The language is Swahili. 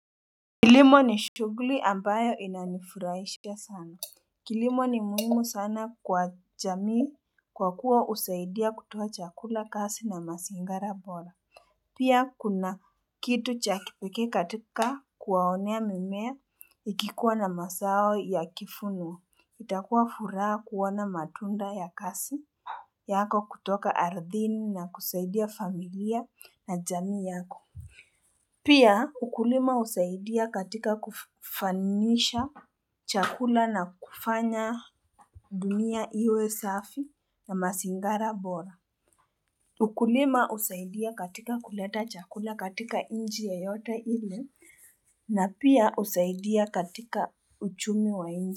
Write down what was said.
Kilimo ni shughuli ambayo ina nifurahishia sana. Kilimo ni muhimu sana kwa jamii kwa kuwa usaidia kutuwa chakula kasi na masingara bora. Pia kuna kitu cha kipekee katika kuwaonea mimea ikikuwa na masao ya kifunwa. Itakuwa furaha kuwana matunda ya kasi yako kutoka aridhini na kusaidia familia na jamii yako. Pia ukulima husaidia katika kufanisha chakula na kufanya dunia iwe safi na masingara bora ukulima usaidia katika kuleta chakula katika inji yoyoote ile na pia usaidia katika uchumi wa inji.